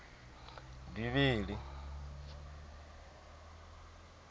bivhili